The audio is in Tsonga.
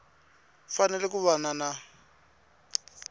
fanele ku va na na